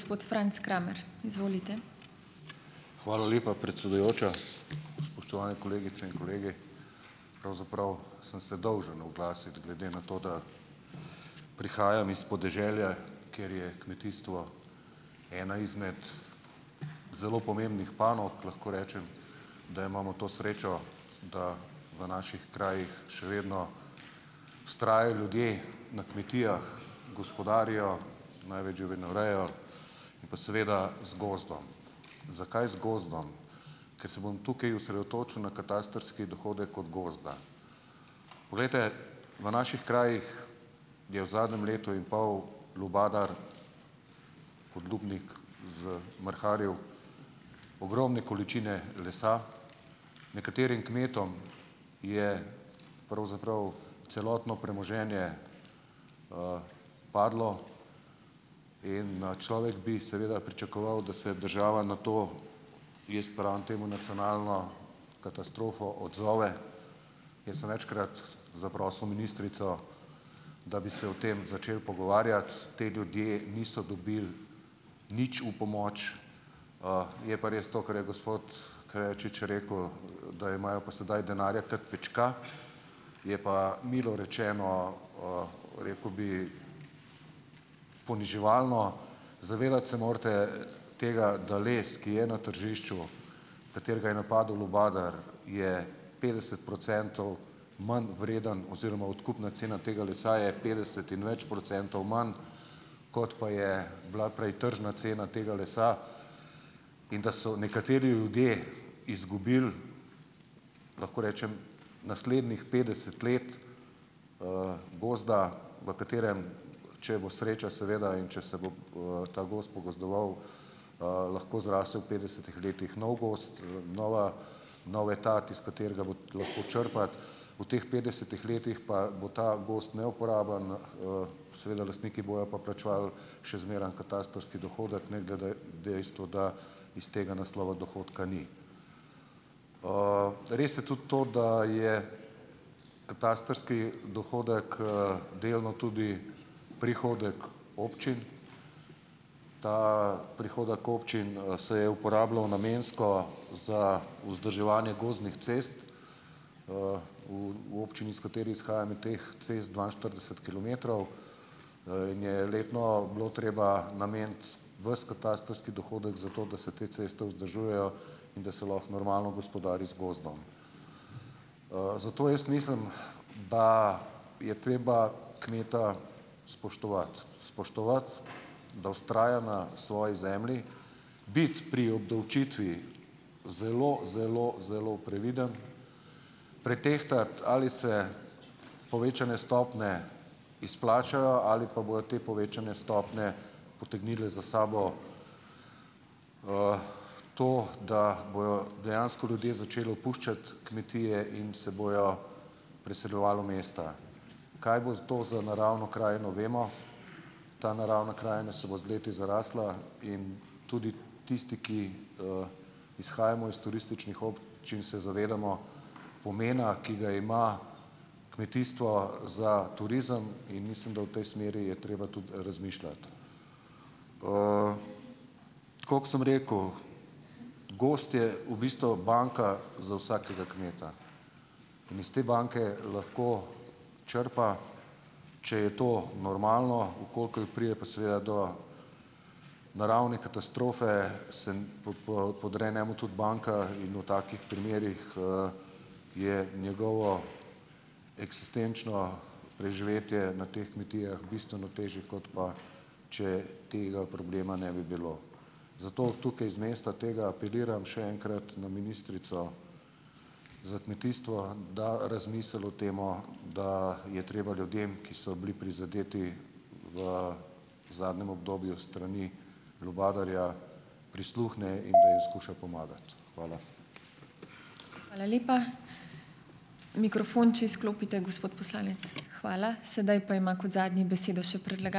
Hvala lepa predsedujoča. Spoštovane kolegice in kolegi! Pravzaprav sem se dolžen oglasiti, glede na to, da prihajam iz podeželja, kjer je kmetijstvo ena izmed zelo pomembnih panog, lahko rečem, da imamo to srečo, da v naših krajih še vedno vztrajajo ljudje na kmetijah, gospodarijo, imajo več živinorejo pa seveda z gozdom. Zakaj z gozdom? Ker se bom tukaj osredotočil na katastrski dohodek od gozda. Poglejte, v naših krajih je v zadnjem letu in pol lubadar, podlubnik zmrharil ogromne količine lesa. Nekaterim kmetom je pravzaprav celotno premoženje padlo in, človek bi seveda pričakoval, da se država na to, jaz pravim temu nacionalno katastrofo, odzove. Jaz sem večkrat zaprosil ministrico, da bi se o tem začeli pogovarjati. Ti ljudje niso dobili nič v pomoč. Je pa res to, kar je gospod Krejačič rekel, da imajo pa sedaj denarja ter pička, je pa, milo rečeno, rekel bi, poniževalno. Se morate zavedati tega, da les, ki je na tržišču, katerega je napadel lubadar, je petdeset procentov manj vreden oziroma odkupna cena tega lesa je petdeset in več procentov manj, kot pa je bila prej tržna cena tega lesa, in da so nekateri ljudje izgubili, lahko rečem, naslednjih petdeset let, gozda, v katerem, če bo sreča seveda in če se bo, ta gozd pogozdoval, lahko zraste v petdesetih letih nov gozd, nova nov etat, iz katerega bo lahko črpati. V teh petdesetih letih pa bo ta gozd neuporaben, seveda lastniki bojo pa plačevali še zmeraj katastrski dohodek ne glede dejstvo, da iz tega naslova dohodka ni. Res je tudi to, da je katastrski dohodek, delno tudi prihodek občin. Ta prihodek občin, se je uporabljal namensko za vzdrževanje gozdnih cest v, v občini, iz katere izhajam je teh cest dvainštirideset kilometrov, in je letno bilo treba nameniti ves katastrski dohodek za to, da se te ceste vzdržujejo in da se lahko normalno gospodari z gozdom. Zato jaz mislim, da je treba kmeta spoštovati, spoštovati, da vztraja na svoji zemlji, biti pri obdavčitvi zelo, zelo, zelo previden, pretehtati, ali se povečane stopnje izplačajo ali pa bojo te povečane stopnje potegnile za sabo, to, da bojo dejansko ljudje začeli opuščati kmetije in se bojo preseljevali v mesta. Kaj bo s to za naravno krajino, vemo. Ta naravna krajina se bo z leti zarasla in tudi tisti, ki, izhajamo iz turističnih občin, se zavedamo pomena, ki ga ima kmetijstvo, za turizem. In mislim, da v tej smeri je treba tudi razmišljati. Tako kot sem rekel, gozd je v bistvu banka za vsakega kmeta. In iz te banke lahko črpa, če je to normalno, v kolikor pride pa seveda do naravne katastrofe, se n, po po, podre njemu tudi banka in v takih primerih, je njegovo eksistenčno preživetje na teh kmetijah bistveno težje, kot pa če tega problema ne bi bilo. Zato tukaj z mesta tega apeliram še enkrat na ministrico za kmetijstvo, da razmisli o tem, da je treba ljudem, ki so bili prizadeti v zadnjem obdobju s strani lubadarja, prisluhne in poizkuša pomagati. Hvala.